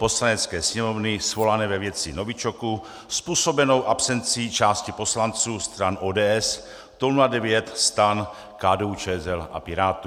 Poslanecké sněmovny svolané ve věci novičoku způsobené absencí části poslanců stran ODS, TOP 09, STAN, KDU-ČSL a Pirátů.